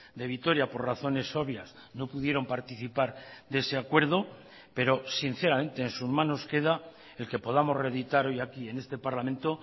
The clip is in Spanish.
de vitoria por razones obvias no pudieron participar de ese acuerdo pero sinceramente en sus manos queda el que podamos reeditar hoy aquí en este parlamento